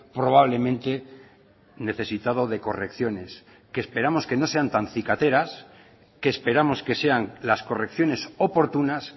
probablemente necesitado de correcciones que esperamos que no sean tan cicateras que esperamos que sean las correcciones oportunas